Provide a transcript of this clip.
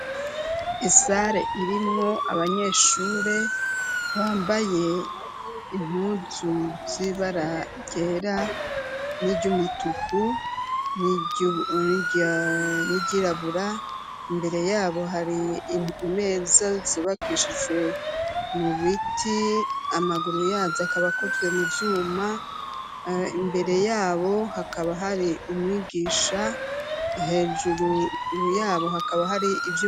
Isare irimwo abanyeshure bambaye impuzu zibaragera n'iryoumutuku n'iryirabura imbere yabo hari meza zibakishije mu biti amaguru yaja akabakoze mu vyuma imbere yabo hakaba hari umwigisha hejuru yabo hakaba hari ivyo.